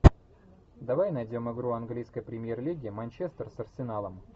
давай найдем игру английской премьер лиги манчестер с арсеналом